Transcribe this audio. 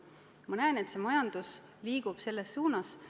Ma näen, et majandus liigub selles suunas.